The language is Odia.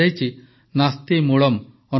ନାସ୍ତି ମୂଳମ୍ ଅନୌଷଧମ୍